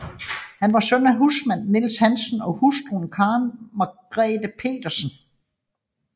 Han var søn af husmand Niels Hansen og hustru Karen Margrete Pedersen